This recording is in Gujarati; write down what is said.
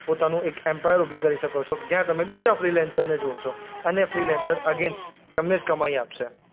પોતાનું એક એમ્પાયર ઉભી કરી શકો છો કે જ્યાં તમે બીજા ફ્રીલેન્સરને જોડશો અને ફ્રીલેન્સર અગેઈન્સ તમને જ કમાય આપશે.